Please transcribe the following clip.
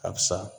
A sa